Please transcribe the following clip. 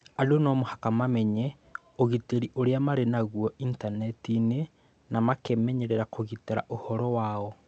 Andũ no mũhaka mamenye ũgitĩri ũrĩa marĩ naguo Intaneti-inĩ na makemenyerera kũgitĩra ũhoro wao.